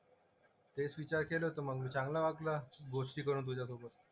तेच विचार केलं तर मग मी चांगला वाटला गोष्टी करून तुझ्यासोबत.